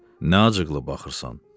Nə acıqlı baxırsan?